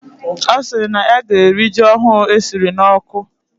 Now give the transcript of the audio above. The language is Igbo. Osiri na ya gee eri ji ohu esiri na oku